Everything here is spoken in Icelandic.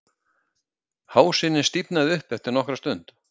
Hásinin stífnaði upp eftir nokkra stund